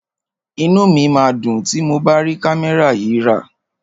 Inú mi máa dùn tí mo bá rí kámẹ́rà yìí rà.